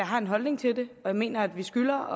har en holdning til det jeg mener at vi skylder